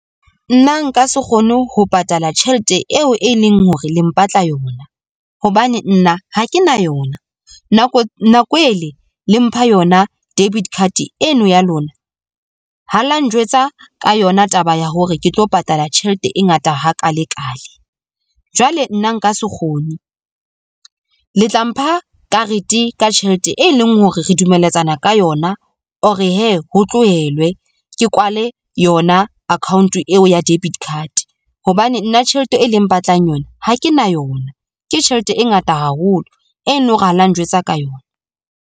Nna nka se kgone ho patala tjhelete eo e leng hore le mpatla yona hobane nna ha ke na yona. Nako e le le mpha yona debit card eno ya lona, ha la njwetsa ka yona taba ya hore ke tlo patala tjhelete e ngata hakaalekale. Jwale nna nka se kgone, le tla mpha karete ka tjhelete e leng hore re dumelletsana ka yona or hee ho tlohelwe ke kwale yona account-o eo ya debit card. Hobane nna tjhelete e leng mpatlang yona ha ke na yona, ke tjhelete e ngata haholo e leng hore ha la njwetsa ka yona.